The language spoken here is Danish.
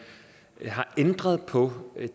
har ændret på